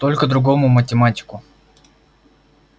только другому математику